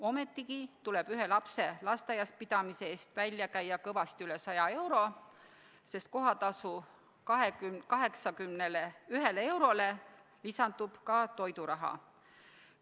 Ometigi tuleb ühe lapse lasteaias käimise eest välja käia kõvasti üle 100 euro, sest kohatasu 81-le eurole lisandub ka toiduraha.